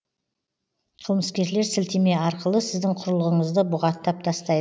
қылмыскерлер сілтеме арқылы сіздің құрылғыңызды бұғаттап тастай